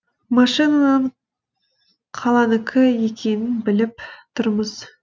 машинаның қаланікі екенін біліп тұрмыз